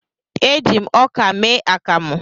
E ji m ọkà mee akamụ